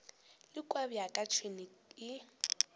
le kua bjaka tšhwene e